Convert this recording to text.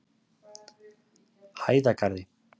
Hæðagarði